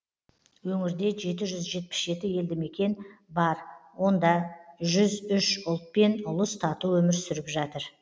өңірде жеті жүз жетпіс жеті елді мекен бар онда жүз үш ұлт пен ұлыс тату өмір сүріп жатыр